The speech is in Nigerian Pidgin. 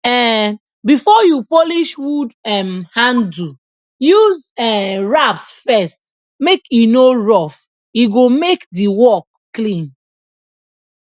um before you polish wood um handle use um rasp first make e no roughe go make di work clean